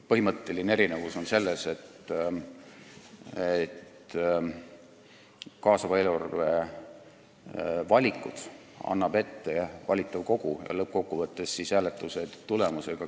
Põhimõtteline erinevus on selles, et kaasava eelarve valikud annab ette valitav kogu, kes lõppkokkuvõttes kinnitab ka hääletuse tulemuse.